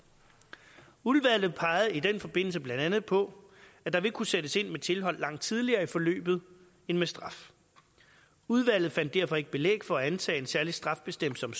udvalget pegede i den forbindelse blandt andet på at der vil kunne sættes ind med tilhold langt tidligere i forløbet end med straf udvalget fandt derfor ikke belæg for at antage at en særlig straffebestemmelse om